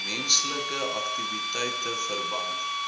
menslike aktiwiteite verband